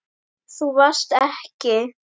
Þú varst ekki.